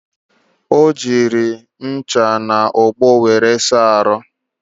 O jighi ncha na ogbo wéré saa ahụ